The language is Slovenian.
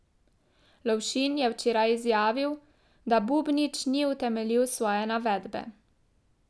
Lovšin je včeraj izjavil, da Bubnič ni utemeljil svoje navedbe.